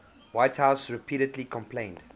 whitehouse repeatedly complained